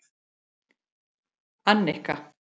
Annika